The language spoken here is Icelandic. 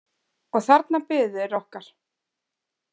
Og þarna biðu þeir okkar.